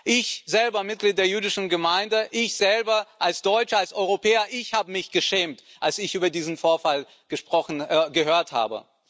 Ich selber, Mitglied der jüdischen Gemeinde, ich selber, als Deutscher, als Europäer, ich habe mich geschämt, als ich von diesem Vorfall gehört habe.